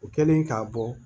O kɛlen k'a bɔ